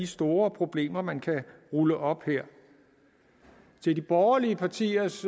store problemer man kan rulle op her til de borgerlige partiers